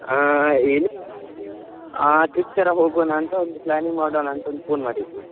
ಹ ಏನಿಲ್ಲ ಹೀಗೆ ಆ trip ತರ ಹೋಗುವನಾ ಅಂತ ಒಂದು planning ಮಾಡುವನ ಅಂತ ಒಂದು phone ಮಾಡಿದ್ದು.